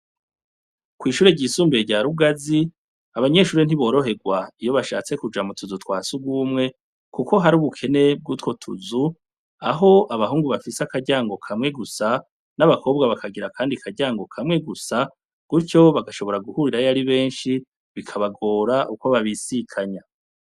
kw'ishure ryisumbuye rya rugazi abanyeshure ntiboroherwa iyo bashatse kuja mu tuzu twa sugumwe kuko har'ubukene bw'utwo tuzu, aho abahungu bafise akaryango kamwe gusa n'abakobwa bakagira akaryango kamwe gusa gutyo bagashobora guhurirayo ari benshi bikabagora uko babisikanya.